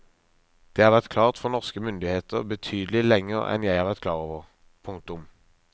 Det har vært klart for norske myndigheter betydelig lenger enn jeg har vært klar over. punktum